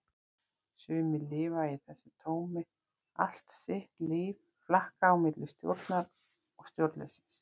Sumir lifa í þessu tómi allt sitt líf, flakka á milli stjórnar og stjórnleysis.